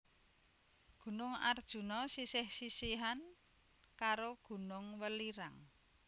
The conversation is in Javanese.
Gunung Arjuna sisih sisihan karo Gunung Welirang